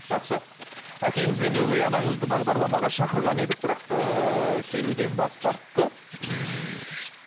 жақсы әкеңіз бен өгей анаңызды бағдарламаға шақырған едік бірақ ыыы келуден бас тартты ммм